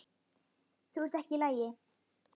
Þú ert ekki í lagi.